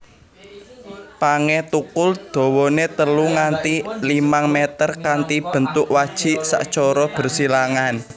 Pangé thukul dawane telu nganti limang mèter kanthi bentuk wajik sacara bersilangan